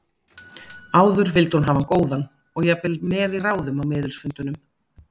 Áður vildi hún hafa hann góðan og jafnvel með í ráðum á miðilsfundunum.